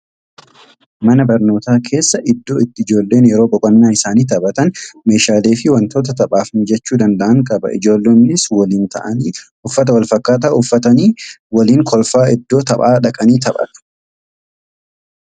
Mana barnootaa keessa iddoo itti ijoolleen yeroo boqonnaa isaanii taphatan, meeshaalee fi wantoota taphaaf mijachuu danda'an qaba. Ijoollonnis waliin ta'anii uffata wal fakkaataa isaanii uffatanii waliin kolfaa iddoo taphaa dhaqanii taphatu.